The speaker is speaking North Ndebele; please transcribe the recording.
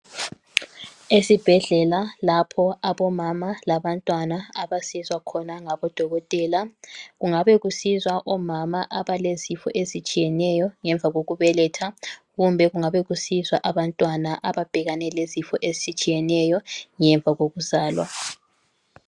Esibhedlela lapho abomama labantwana abasizwa khona ngabodokotela . Kungabe kusizwa omama abalezifo ezitshiyeneyo ngemva kokubeletha kumbe kungabe kusizwa abantwana ababhekane lezifo ezitshiyeneyo ngemva kokuzalwa.